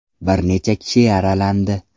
Bir necha kishi yaralandi.